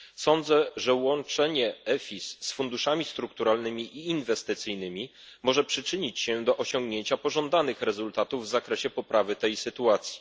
Sądzę, że łączenie EFIS z funduszami strukturalnymi i inwestycyjnymi może przyczynić się do osiągnięcia pożądanych rezultatów w zakresie poprawy tej sytuacji.